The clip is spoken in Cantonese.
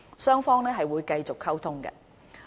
雙方會繼續溝通。